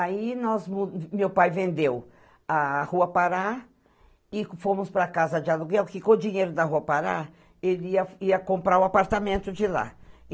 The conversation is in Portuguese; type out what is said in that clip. Aí, nós mu, meu pai vendeu a Rua Pará e fomos para a casa de aluguel, porque com o dinheiro da Rua Pará, ele ia ia comprar o apartamento de lá.